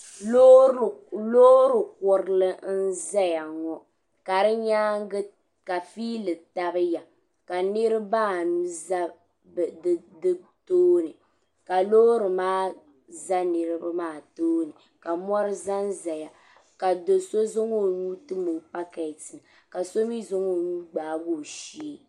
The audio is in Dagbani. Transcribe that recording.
Loorikurili n ʒɛya ŋo ka di nyaanga ka fiili tabiya ka niraba anu ʒɛ di tooni ka loori maa ʒɛ niraba maa tooni ka mori ʒɛnʒɛya ka do so zaŋ o nuu tim o pakɛtini ka so mii zaŋ o nuu gbaagi o shee